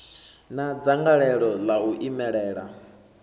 na dzangalelo ḽa u imelela